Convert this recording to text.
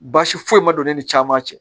Baasi foyi ma don ne ni caman cɛ